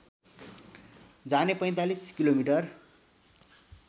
जाने ४५ किलोमिटर